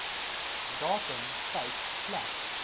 datum tyd plek